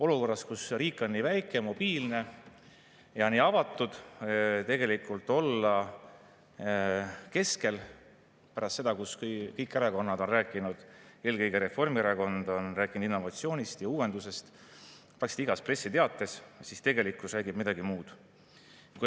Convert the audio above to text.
Olukorras, kus riik on nii väike, mobiilne ja nii avatud, tegelikult olla keskel, pärast seda, kui kõik erakonnad, eelkõige Reformierakond on rääkinud innovatsioonist ja uuendustest praktiliselt igas pressiteates – tegelikkus räägib midagi muud.